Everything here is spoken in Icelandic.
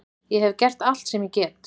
Ég hef gert allt sem ég get.